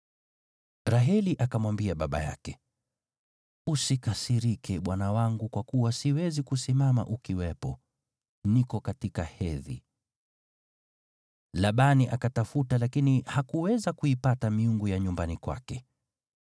Raheli akamwambia baba yake, “Usikasirike, bwana wangu kwa kuwa siwezi kusimama ukiwepo, niko katika hedhi.” Labani akatafuta lakini hakuweza kuipata miungu ya nyumbani kwake.